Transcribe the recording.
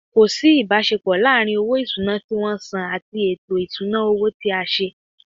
Ko si ibasepo laaarin owo isuna ti won san ati eto isuna owo ti a se.